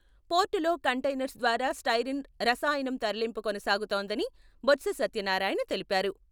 పోర్టులో కంటైనర్స్ ద్వారా స్టైరిన్ రసాయనం తరలింపు కొనసాగుతోందని బొత్స సత్యనారాయణ తెలిపారు.